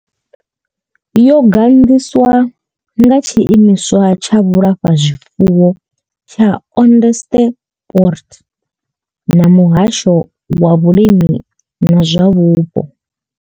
Yo gandiswa nga Tshiimiswa tsha Vhulafha zwifuwo tsha Onderstepoort na Muhasho wa Vhulimi na zwa Vhupo.